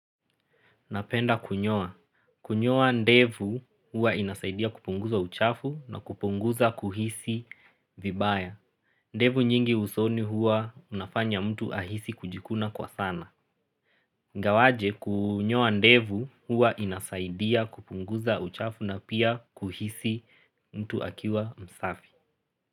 Napenda kunyoa. Kunyoa ndevu hua inasaidia kupunguza uchafu na kupunguza kuhisi vibaya. Ndevu nyingi usoni hua unafanya mtu ahisi kujikuna kwa sana. Ingawaje kunyoa ndevu hua inasaidia kupunguza uchafu na pia kuhisi mtu akiwa msafi.